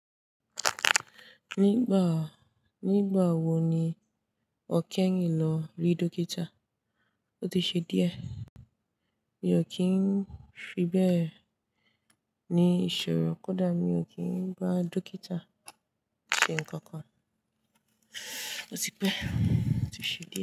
Nígbà, nígbà wo ni ọ́ keyin lọ rí dókítà? Ó ti ṣe díẹ̀. Mi ò kí ń fi bẹ́ẹ̀ ní ìṣòro kódà mi ò kí ń bá dókítà ṣe nǹkan kan. Ó ti pẹ́, ó ti ṣe die.